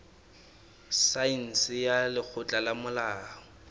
saense ya lekgotleng la molao